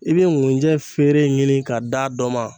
E be ŋunjɛ feere ɲini ka d'a dɔ ma